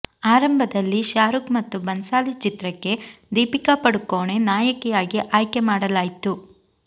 ಅರಂಭದಲ್ಲಿ ಶಾರೂಖ್ ಮತ್ತು ಬನ್ಸಾಲಿ ಚಿತ್ರಕ್ಕೆ ದೀಪಿಕಾ ಪಡುಕೋಣೆ ನಾಯಕಿಯಾಗಿ ಆಯ್ಕೆ ಮಾಡಲಾಯ್ತು